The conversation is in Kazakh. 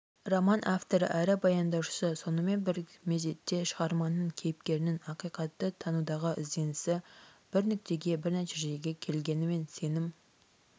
роман авторы әрі баяндаушысы сонымен бір мезетте шығарманың кейіпкерінің ақиқатты танудағы ізденісі бір нүктеге бір нәтижеге келгенімен сенім